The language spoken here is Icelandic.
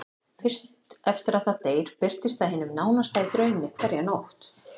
Fyrst eftir að það deyr birtist það hinum nánasta í draumi hverja nótt.